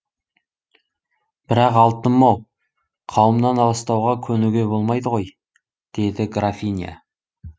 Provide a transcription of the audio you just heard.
бірақ алтыным ау қауымнан аластауға көнуге болмайды ғой деді графиня